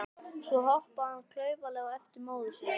Svo hoppaði hann klaufalega á eftir móður sinni.